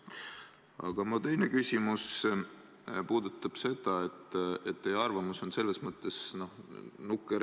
Aga mu teine küsimus puudutab seda, et teie arvamus on selles mõttes nukker.